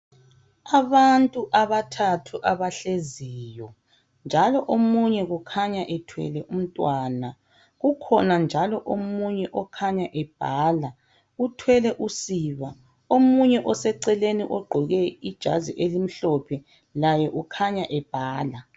abantu abathathu abahleziyo njalo omunye kukhanya ethwele umntwana ukhona njalo omunye okhanya ebhala uthwele usiba omunye oseceleni ogqoke ijazi elimhlophe laye ukhanya ebhala